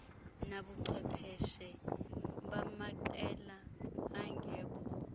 nabubuchwepheshe bamaqela angekho